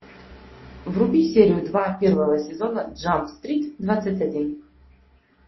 вруби серию два первого сезона джамп стрит двадцать один